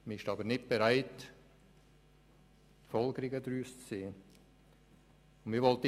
Man ist aber nicht bereit, Folgerungen daraus zu ziehen.